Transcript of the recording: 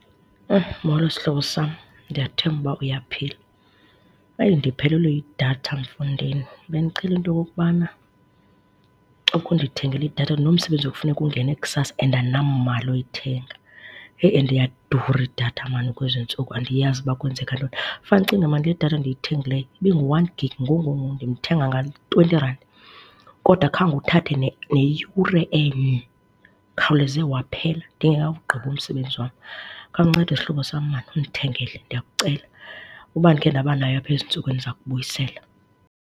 Molo, sihlobo sam. Ndiyathemba uba uyaphila. Eyi, ndiphelelwe yidatha mfondini, bendicela into yokokubana ukhe ndiyithengele idatha. Ndinomsebenzi ekufuneka ungene kusasa and namali oyithenga. Heyi, and iyadura idatha maan kwezi ntsuku andiyazi uba kwenzeka ntoni. Fane ucinge maan le datha ndiyithengileyo ibi ngu-one gig ngoku ngoku ngoku, ndimthenga nga-twenty rand, kodwa khange uthathe neyure enye, ikhawuleze waphela ndingekawugqibi umsebenzi wam. Khawuncede, sihlobo sam maan undithengele, ndiyakucela. Uba ndikhe ndaba nayo apha ezintsukwini ndiza kukubuyisela.